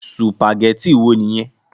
Sùpàgétì wo nìyẹn?